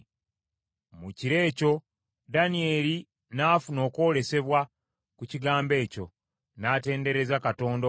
Mu kiro ekyo Danyeri n’afuna okwolesebwa ku kigambo ekyo, n’atendereza Katonda ow’eggulu.